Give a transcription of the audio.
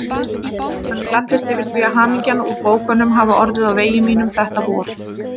Hann gladdist yfir því að hamingjan úr bókunum hafði orðið á vegi mínum þetta vor.